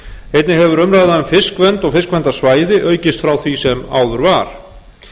einnig hefur umræðan um fiskvernd og fiskverndarsvæði aukist frá því sem áður var